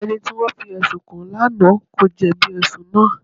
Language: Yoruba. Ẹni tí wọ́n fi ẹ̀sùn kàn lánàá kò jẹ̀bi ẹ̀sùn náà.